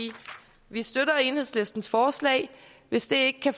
vi støtter enhedslistens forslag hvis de ikke kan